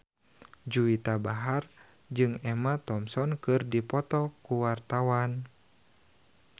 Juwita Bahar jeung Emma Thompson keur dipoto ku wartawan